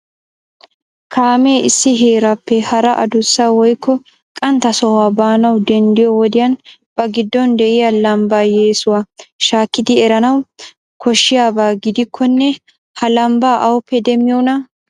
Kaamee issi heerappe hara addussa woykko qanttaa sohuwaa baanawu denddiyo wodiyan ba giddon de'iyaa lambba yessuwaa shakkidi eranawu koshshiyaaba gidikkonne ha lambbaa awuppe demmiyoona?